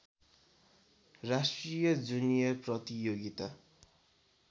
राष्ट्रिय जुनियर प्रतियोगिता